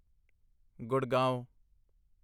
Gurgaon